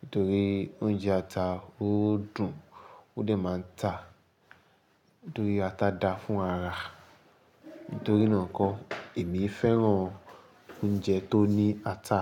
Nítorí oúnjẹ ata ó dùn ó dẹ̀ máa ń tà. Nítorí ata dáa fún ara. Nítorí náà kọ́ èmi fẹ́ràn oúnjẹ tó ní ata.